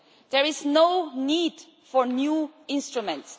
There is no need for new instruments.